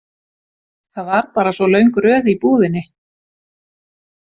Það var bara svo löng röð í búðinni.